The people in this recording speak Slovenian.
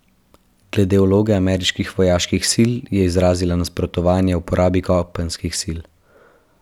Glede vloge ameriških vojaških sil je izrazila nasprotovanje uporabi kopenskih sil.